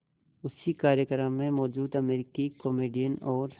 उसी कार्यक्रम में मौजूद अमरीकी कॉमेडियन और